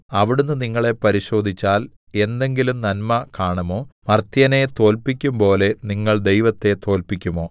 അവിടുന്ന് നിങ്ങളെ പരിശോധിച്ചാൽ എന്തെങ്കിലും നന്മ കാണുമോ മർത്യനെ തോല്പിക്കുമ്പോലെ നിങ്ങൾ ദൈവത്തെ തോല്പിക്കുമോ